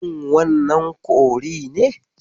Shin wannan kori ne?